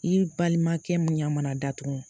I balimakɛ m ɲɛ mana datugu